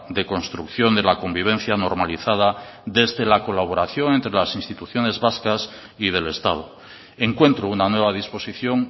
de construcción de la convivencia normalizada desde la colaboración entre las instituciones vascas y del estado encuentro una nueva disposición